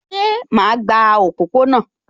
Ṣé ẹ máa gba òpópó-ọ̀nà?